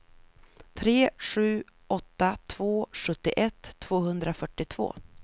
tre sju åtta två sjuttioett tvåhundrafyrtiotvå